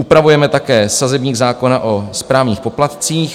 Upravujeme také sazebník zákona o správních poplatcích.